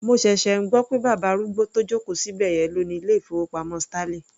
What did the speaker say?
Mo ṣẹ̀ṣẹ̀ ń gbọ́ pé bàbá arúgbó tó joko sí ibẹ̀yẹn ló ni ilé ìfowópamọ́ sterling.